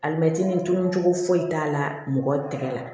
Alimɛti dunun cogo foyi t'a la mɔgɔ tɛgɛ la